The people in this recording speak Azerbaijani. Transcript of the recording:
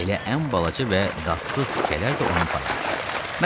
Elə ən balaca və dadsız tikələr də onun payına düşür.